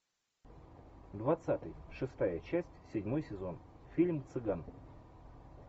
двадцатый шестая часть седьмой сезон фильм цыган